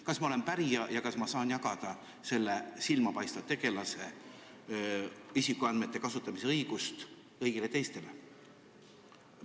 Kas ma olen pärija ja kas ma saan jagada selle silmapaistva tegelase isikuandmete kasutamise õigust kõigile teistele?